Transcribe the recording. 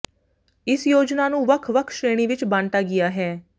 ਇਸ ਯੋਜਨਾ ਨੂੰ ਵੱਖ ਵੱਖ ਸ਼੍ਰੇਣੀ ਵਿੱਚ ਬਾਂਟਾ ਗਿਆ ਹੈ